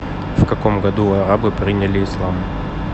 в каком году арабы приняли ислам